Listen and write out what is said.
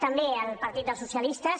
també al partit dels socialistes